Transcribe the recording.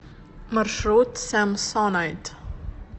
маршрут самсонайт